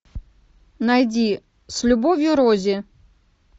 найди с любовью рози